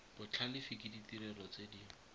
botlhalefi ke ditirelo tse di